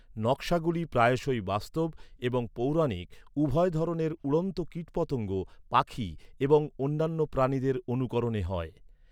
নক্‌শাগুলি প্রায়শই বাস্তব এবং পৌরাণিক উভয় ধরনের উড়ন্ত কীটপতঙ্গ, পাখি এবং অন্যান্য প্রাণীদের অনুকরণে হয়।